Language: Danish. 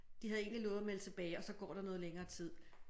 De havde egentlig lovet at melde tilbage og så går der noget længere tid